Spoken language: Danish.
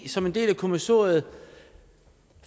som en del af kommissoriet